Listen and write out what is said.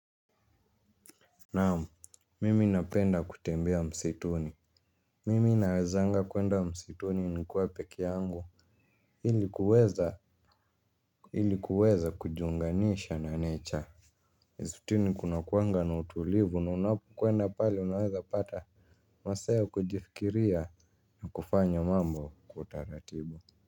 Naamu mimi napenda kutembea msituni mimi nawezanga kuenda msituni ni kuwa peki yangu ili kuweza ili kuweza kujunganisha na nature mstini kuna kuanga na utulivu na unapu kuenda pale unaweza pata masaa ya kujifikiria na kufanya mambo kwa utaratibu.